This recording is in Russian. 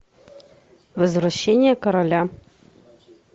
возвращение короля